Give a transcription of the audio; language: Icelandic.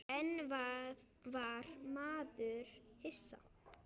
En var maður hissa?